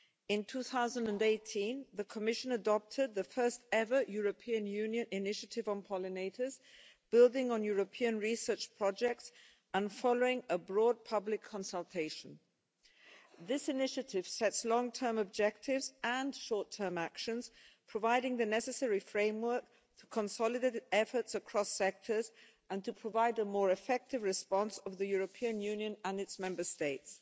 In 2018 the Commission adopted the first ever European Union initiative on pollinators, building on European research projects and following a broad public consultation. This initiative sets long term objectives and short term actions, providing the necessary framework to consolidate efforts across sectors and to provide a more effective response of the European Union and its Member States.